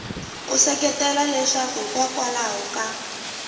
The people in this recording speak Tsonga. u seketela leswaku hikokwalaho ka